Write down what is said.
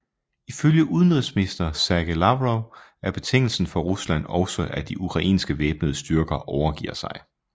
Ifølge udenrigsminister Sergej Lavrov er betingelsen for Rusland også at de ukrainske væbnede styrker overgiver sig